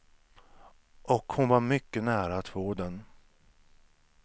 Och hon var mycket nära att få den.